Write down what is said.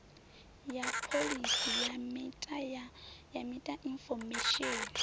ya pholisi ya meta infomesheni